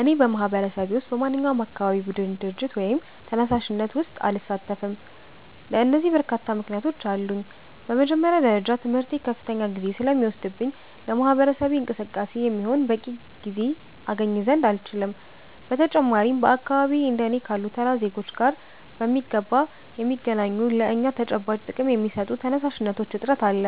እኔ በማህበረሰቤ ውስጥ በማንኛውም የአካባቢ ቡድን፣ ድርጅት ወይም ተነሳሽነት ውስጥ አልሳተፍም። ለዚህ በርካታ ምክንያቶች አሉኝ። በመጀመሪያ ደረጃ ትምህርቴ ከፍተኛ ጊዜ ስለሚወስድብኝ ለማህበረሰብ እንቅስቃሴ የሚሆን በቂ ጊዜ አገኝ ዘንድ አልችልም። በተጨማሪም በአካባቢዬ እንደ እኔ ካሉ ተራ ዜጎች ጋር በሚገባ የሚገናኙና ለእኛ ተጨባጭ ጥቅም የሚሰጡ ተነሳሽነቶች እጥረት አለ፤